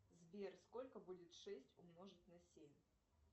сбер сколько будет шесть умножить на семь